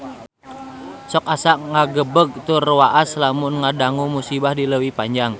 Sok asa ngagebeg tur waas lamun ngadangu musibah di Leuwi Panjang